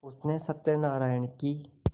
उसने सत्यनाराण की